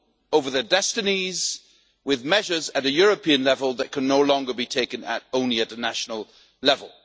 over their destinies with measures at a European level that can no longer be taken only at the national level.